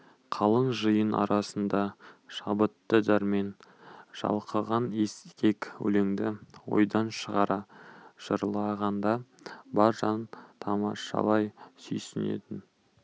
қалың жиын арасында шабытты дәрмен шалқыған ескек өлеңді ойдан шығара жырлағанда бар жан тамашалай сүйсінетін